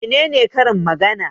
Mene ne Karin magana?